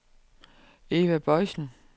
Eva Boisen